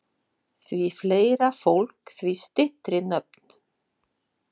Því fleira fólk, því styttri nöfn.